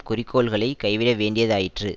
குறிக்கோள்களை கைவிட வேண்டியதாயிற்று